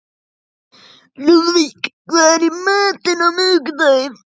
Lúðvík, hvað er í matinn á miðvikudaginn?